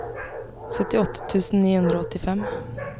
syttiåtte tusen ni hundre og åttifem